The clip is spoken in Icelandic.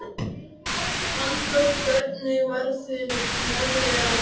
Fannþór, hvernig verður veðrið á morgun?